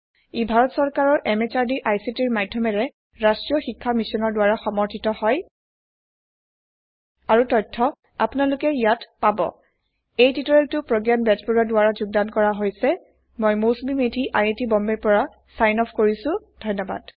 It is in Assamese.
ই ভাৰত চৰকাৰৰ MHRDৰ ICTৰ মাধয়মেৰে ৰাস্ত্ৰীয় শিক্ষা মিছনৰ দ্ৱাৰা সমৰ্থিত হয় আৰু তথ্য আপোনালোকে ইয়াতে পাব httpspoken tutorialorgNMEICT Intro এই টিউটৰিয়েলটো প্ৰগয়ান বেজবৰুৱা দ্ৱাৰা যোগদান কৰা হৈছে মই Mousumi Medhi I I T বম্বেৰ পৰা ছাইন অফ কৰিছো ধন্যৱাদ